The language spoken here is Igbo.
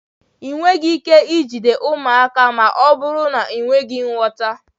Ị nweghị ike ijide ụmụaka ma ọ bụrụ na ị nweghị nghọta